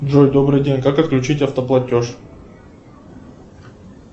джой добрый день как отключить автоплатеж